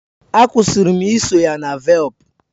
Akwusirim iso ya na velp